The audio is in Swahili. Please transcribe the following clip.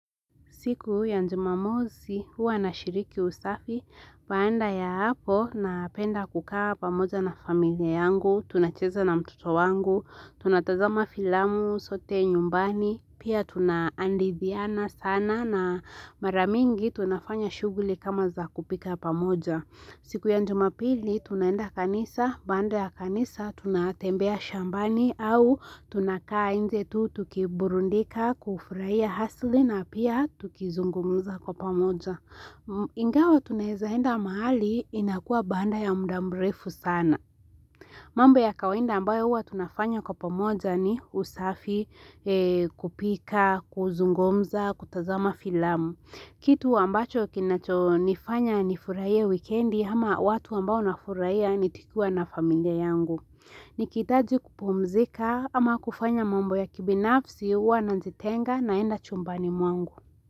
Siku ya jumamosi huwa nashiriki usafi. Baada ya hapo napenda kukaa pamoja na familia yangu, tunacheza na mtoto wangu, tunatazama filamu sote nyumbani, pia tunahadithiana sana na mara mingi tunafanya shughuli kama za kupika pamoja. Siku ya jumapili, tunaenda kanisa, baada ya kanisa, tunatembea shambani au tunakaa nje tu, tukiburudika, kufurahia asili na pia tukizungumuza kwa pamoja. Ingawa tunaweza enda mahali, inakua baada ya muda mrefu sana. Mambo ya kawaida ambayo huwa tunafanya kwa pamoja ni usafi, kupika, kuzungumza, kutazama filamu. Kitu ambacho kinachonifanya nifurahie wikendi ama watu ambao nafurahia nikikua na familia yangu. Nikihitaji kupumzika ama kufanya mambo ya kibinafsi huwa najitenga naenda chumbani mwangu.